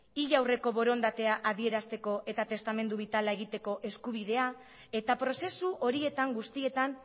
hil aurreko borondatea adierazteko eta testamentu bitala egiteko eskubidea eta prozesu horietan guztietan